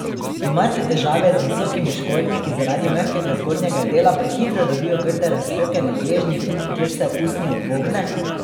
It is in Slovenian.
Imate težave z visokimi škornji, ki zaradi mehkega zgornjega dela prehitro dobijo grde razpoke na gležnjih, kjer se usnje upogne?